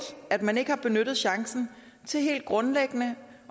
at man ikke har benyttet chancen til helt grundlæggende